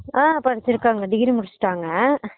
ஆஹ் படுச்சுருக்காங்க degree முடுச்சுட்டாங்க